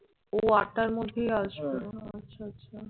ও আটটার মধ্যেই আসবে ও আচ্ছা আচ্ছা,